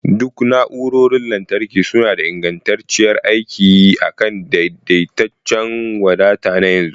Duk na'urorin lantarki suna da ingantacciyar aiki akan daidaitaccen wadata na yanzu